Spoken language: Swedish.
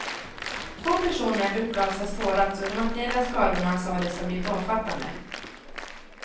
Två personer uppgavs ha sårats och de materiella skadorna sades ha blivit omfattande.